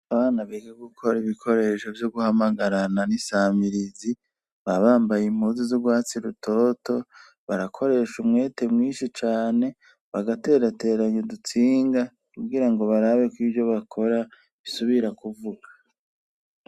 Abana biga gukora ibikoresho vyo guhamagarana n'isamirizi baba bambaye impuzi z'urwatsi rutoto, barakoresha umwete mwinshi cane bagaterateranya udutsinga kugira ngo barabe ko ivyo bakora bisubira kuvuga.